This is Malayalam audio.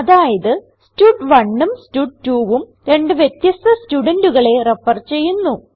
അതായത് stud1ഉം stud2ഉം രണ്ട് വ്യത്യസ്ഥ സ്റ്റുഡന്റുകളെ റെഫർ ചെയ്യുന്നു